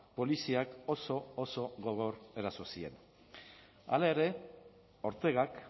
poliziak oso oso gogor eraso zien hala ere ortegak